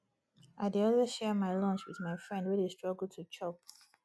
i dey always share my lunch wit my friend wey dey struggle to chop